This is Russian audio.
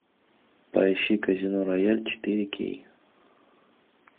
поищи казино рояль четыре кей